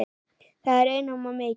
Það er einum of mikið.